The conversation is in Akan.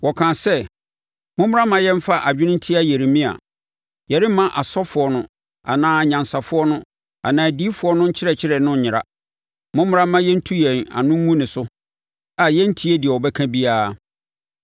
Wɔkaa sɛ, “Mommra mma yɛmfa adwene ntia Yeremia; yɛremma asɔfoɔ no anaa anyansafoɔ no anaa adiyifoɔ no nkyerɛkyerɛ no nyera. Mommra na yɛntu yɛn ano ngu ne so a yɛnntie deɛ ɔbɛka biara.”